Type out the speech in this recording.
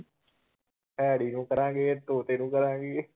Harry ਨੂੰ ਕਰਾਂਗੇ ਤੋਤੇ ਨੂੰ ਕਰਾਂਗੇ।